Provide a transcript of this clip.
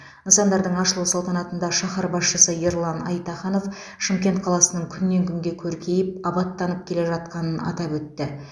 нысандардың ашылу салтанатында шаһар басшысы ерлан айтаханов шымкент қаласының күннен күнге көркейіп абаттанып келе жатқанын атап өтті